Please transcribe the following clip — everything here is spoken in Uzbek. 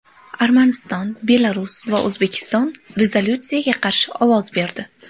Armaniston, Belarus va O‘zbekiston rezolyutsiyaga qarshi ovoz berdi.